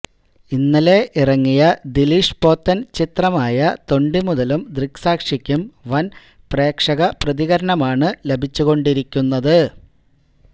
ഇന്നലെ ഇറങ്ങിയ ദിലീഷ് പോത്തൻ ചിത്രമായ തൊണ്ടിമുതലും ദൃക്സാക്ഷിക്കും വൻ പ്രേക്ഷക പ്രതികരണമാണ് ലഭിച്ചുകൊണ്ടിരിക്കുന്നത്